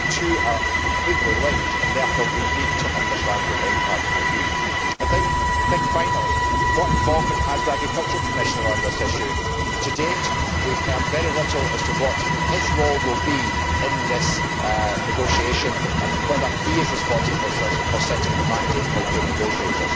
The two are completely linked and therefore we need to understand what the impact will be. Finally, what involvement does the Agriculture Commissioner have on this issue? To date, we have heard very little as to what his role will be in this negotiation, and whether he is responsible for setting the mandate for your negotiators.